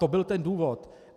To byl ten důvod.